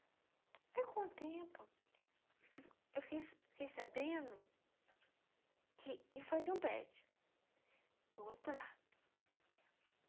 Aí, com o tempo, eu fiquei fiquei sabendo que iam fazer um prédio do outro lado.